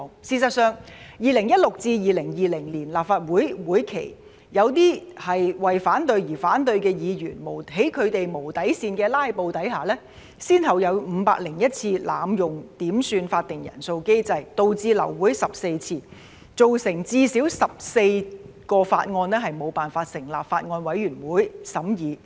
事實上，在2016年至2020年的立法會會期，在一些為反對而反對的議員的無底線"拉布"下，先後有501次濫用點算法定人數機制，導致流會14次，造成最少14項法案無法成立法案委員會審議。